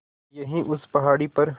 यहीं उस पहाड़ी पर